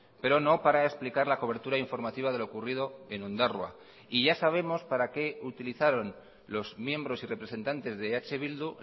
pero no para explicar la cobertura informativa de lo ocurrido en ondarroa y ya sabemos para qué utilizaron los miembros y representantes de eh bildu